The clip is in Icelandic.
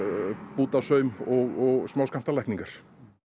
bútasaum og smáskammtalækningar